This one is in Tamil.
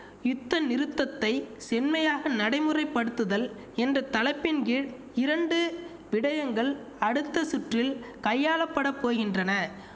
யுத்தநிறுத்தத்தை செம்மையாக நடைமுறைப்படுத்துதல் என்ற தலைப்பின் கீழ் இரண்டு விடயங்கள் அடுத்த சுற்றில் கையாளப்படப் போகின்றன